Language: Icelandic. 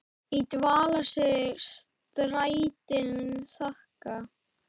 í dvala sig strætin þagga.